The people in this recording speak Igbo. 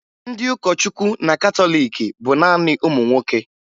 Ndị ụkọchukwu na katọliiki bụ naanị ụmụ nwoke